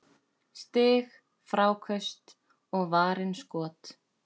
Stig, fráköst og varin skot